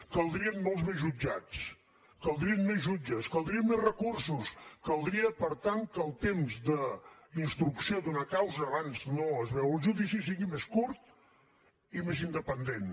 caldrien molts més jutjats caldrien més jutges caldrien més recursos caldria per tant que el temps d’instrucció d’una causa abans no es veu el judici sigui més curt i més independent